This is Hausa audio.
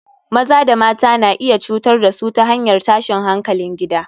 Maza da mata na iya cutar da su ta hanyar tashin hankalin gida